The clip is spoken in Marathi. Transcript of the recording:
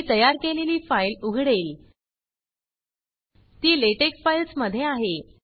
मी तयार केलेली फाइल उघडेल ती लॅटेक्स फाइल्स् मध्ये आहे